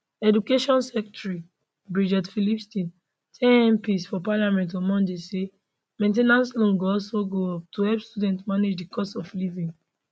education secretary bridget phillipson tell mps for parliament on monday say main ten ance loans go also go up to help students manage di cost of living